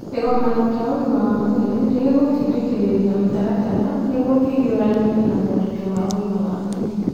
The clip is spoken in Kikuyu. Kĩgomano kĩa ũgima wa mwĩrĩ nĩ gĩgũtindĩkĩrĩria mĩtaratara nĩguo kũhiũrania na moritũ ma ũgima wa mwĩrĩ